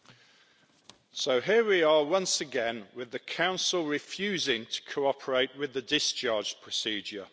Mr President, so here we are once again, with the Council refusing to cooperate with the discharge procedure.